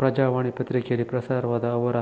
ಪ್ರಜಾವಾಣಿ ಪತ್ರಿಕೆಯಲ್ಲಿ ಪ್ರಸಾರವಾದ ಅವರ